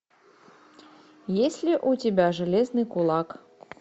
есть ли у тебя железный кулак